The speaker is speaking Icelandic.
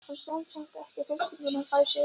Hún stenst samt ekki freistinguna og fær sér einn.